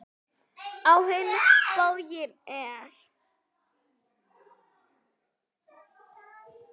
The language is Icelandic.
Á hinn bóginn er